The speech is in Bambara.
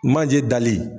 Manje dali